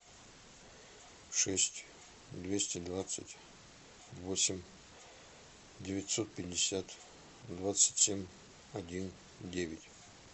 шесть двести двадцать восемь девятьсот пятьдесят двадцать семь один девять